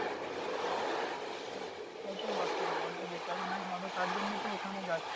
তা তো বটেই ওখানে বেচাকেনাই হবে তার জন্যই তো ওখানে যাচ্ছি।